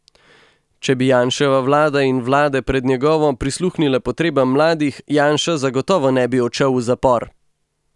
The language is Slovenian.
Če bi Janševa vlada in vlade pred njegovo prisluhnile potrebam mladih, Janša zagotovo ne bi odšel v zapor!